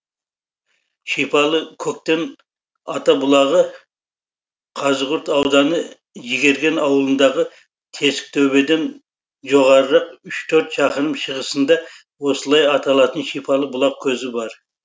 шипалы көктен ата бұлағы қазығұрт ауданы жігерген ауылындағы тесіктөбеден жоғарырақ үш төрт шақырым шығысында осылай аталатын шипалы бұлақ көзі бар